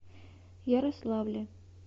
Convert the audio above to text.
ярославле